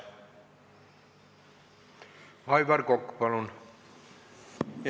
Aivar Kokk, palun!